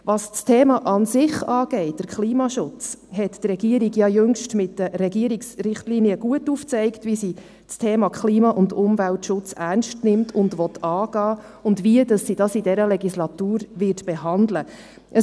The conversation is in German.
Was das Thema an sich angeht, der Klimaschutz, hat die Regierung ja jüngst mit den Regierungsrichtlinien gut aufgezeigt, wie sie das Thema Klima und Umweltschutz ernst nimmt und angehen will und wie sie das in dieser Legislatur behandeln wird.